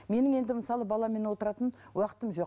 менің енді мысалы баламен отыратын уақытым жоқ